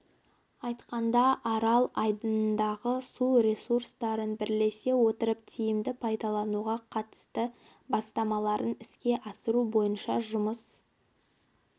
айтқанда арал айдынындағы су ресурстарын бірлесе отырып тиімді пайдалануға қатысты бастамаларын іске асыру бойынша жұмыс